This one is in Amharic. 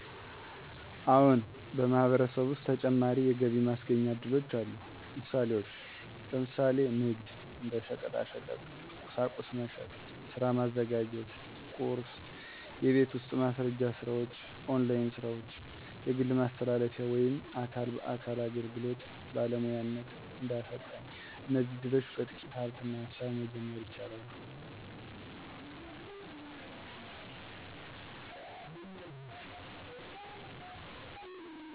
አዎን፣ በማህበረሰብ ውስጥ ተጨማሪ የገቢ ማስገኛ እድሎች አሉ። ምሳሌዎች፦ ለምሳሌ ንግድ (እንደ ሸቀጣሸቀጥ፣ ቁሳቁስ መሸጥ) ሥራ ማዘጋጀት (ቁርስ) የቤት ውስጥ ማስረጃ ስራዎች ( ኦንላይን ሥራዎች) ግል ማስተላለፊያ ወይም አካል በአካል አገልግሎት (ባለሙያነት፣ እንደ አሰልጣኝ) እነዚህ እድሎች በጥቂት ሃብትና ሃሳብ መጀመር ይቻላሉ።